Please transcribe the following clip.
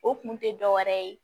O kun tɛ dɔ wɛrɛ ye